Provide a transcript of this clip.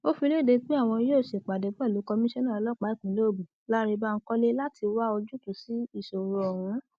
ó fi lédè pé àwọn yóò ṣèpàdé pẹlú komisanna ọlọpàá ìpínlẹ ogun lánrè bankole láti wá ojútùú sí ìṣòro ọhún